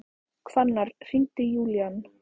Hvannar, hringdu í Júlían.